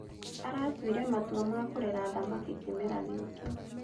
Alatuire matua ma kũrera thamaki kĩmera gĩkĩ